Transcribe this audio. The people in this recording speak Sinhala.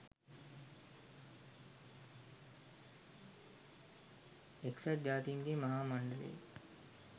එක්සත් ජාතීන්ගේ මහා මණ්ඩලයේ